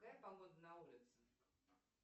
какая погода на улице